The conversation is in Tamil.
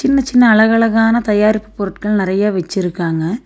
சின்ன சின்ன அழகு அழகான தையாரிப்பு பொருட்கள் நெறைய வெச்சிருக்காங்க.